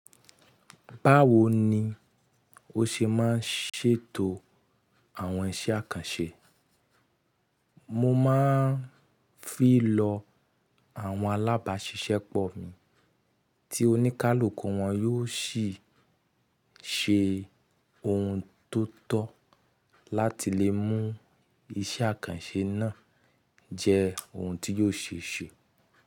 Báwo ni o ṣe máa ń ṣètò àwọn iṣẹ́ àkànṣe? Mo máa ń fi lọ àwọn alábàáṣiṣẹ́pọ̀ mi tí oníkálukú wọn yóò sì ṣe ohun tó tọ́ láti lè mú iṣẹ́ àkànṣe náà jẹ́ ohun tí yóò ṣe ṣe.